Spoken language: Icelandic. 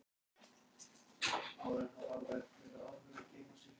Eldur var á gólfinu og vermdi hún vatn til að fægja sárin.